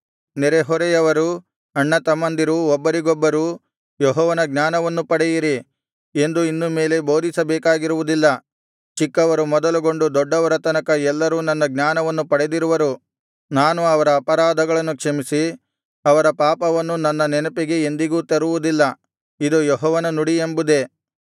ನೆರೆಹೊರೆಯವರೂ ಅಣ್ಣತಮ್ಮಂದಿರೂ ಒಬ್ಬರಿಗೊಬ್ಬರು ಯೆಹೋವನ ಜ್ಞಾನವನ್ನು ಪಡೆಯಿರಿ ಎಂದು ಇನ್ನು ಮೇಲೆ ಬೋಧಿಸಬೇಕಾಗಿರುವುದಿಲ್ಲ ಚಿಕ್ಕವರು ಮೊದಲುಗೊಂಡು ದೊಡ್ಡವರ ತನಕ ಎಲ್ಲರೂ ನನ್ನ ಜ್ಞಾನವನ್ನು ಪಡೆದಿರುವರು ನಾನು ಅವರ ಅಪರಾಧವನ್ನು ಕ್ಷಮಿಸಿ ಅವರ ಪಾಪವನ್ನು ನನ್ನ ನೆನಪಿಗೆ ಎಂದಿಗೂ ತರುವುದಿಲ್ಲ ಇದು ಯೆಹೋವನ ನುಡಿ ಎಂಬುದೇ